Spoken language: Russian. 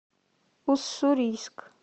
уссурийск